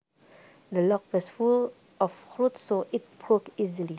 The log was full of rot so it broke easily